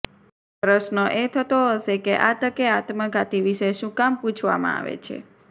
પ્રશ્ર્ન એ થતો હશે કે આ તકે આત્મઘાતી વિશે શું કામ પુછવામાં આવે છે